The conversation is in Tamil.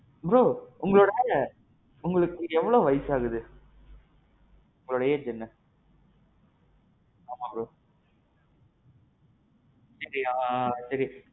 bro. உங்க வேல. உங்களுக்கு எவ்வளவு வயசு ஆகுது. உங்களோட age என்ன? ஆமாம் bro. என்கிட்டயா சேரி.